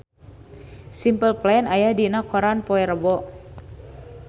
Simple Plan aya dina koran poe Rebo